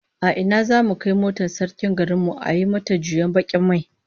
A ina zamu kai motar sarkin garin mu a yi mata juyen bakin mai?